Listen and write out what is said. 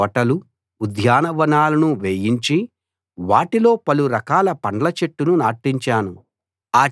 తోటలు ఉద్యానవనాలను వేయించి వాటిలో పలు రకాల పండ్ల చెట్లు నాటించాను